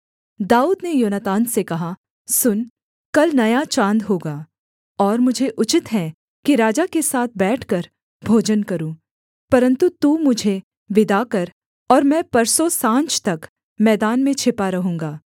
दाऊद ने योनातान से कहा सुन कल नया चाँद होगा और मुझे उचित है कि राजा के साथ बैठकर भोजन करूँ परन्तु तू मुझे विदा कर और मैं परसों साँझ तक मैदान में छिपा रहूँगा